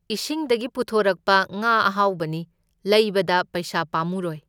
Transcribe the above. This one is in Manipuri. ꯏꯁꯤꯡꯗꯒꯤ ꯄꯨꯊꯣꯔꯛꯄ ꯉꯥ ꯑꯍꯥꯎꯕꯅꯤ, ꯂꯩꯕꯗ ꯄꯩꯁꯥ ꯄꯥꯝꯃꯨꯔꯣꯢ꯫